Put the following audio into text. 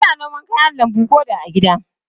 Ana noma kayan lambu ko da a gida.